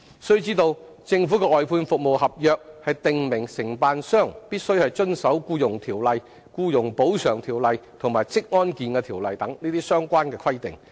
須知道，政府的外判服務合約訂明承辦商必須遵守《僱傭條例》、《僱員補償條例》和《職業安全及健康條例》等相關規定。